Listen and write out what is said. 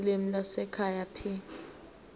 ulimi lwasekhaya p